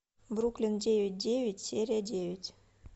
бруклин девять девять серия девять